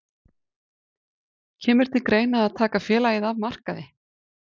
Kemur til greina að taka félagið af markaði?